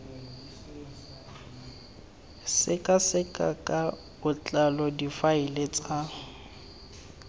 sekaseka ka botlalo difaele tsa